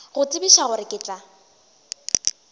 go tsebiša gore ke tla